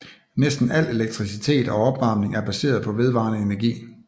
Næsten al elektricitet og opvarmning er baseret på vedvarende energi